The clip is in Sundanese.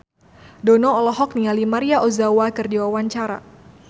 Dono olohok ningali Maria Ozawa keur diwawancara